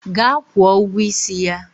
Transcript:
Gaa kwụọ ụgwọ isi ya!